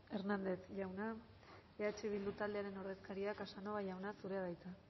eskerrik asko hernández jauna eh bildu taldearen ordezkaria casanova jauna zurea da hitza